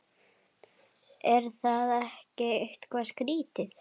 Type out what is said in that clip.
Er það ekki eitthvað skrítið?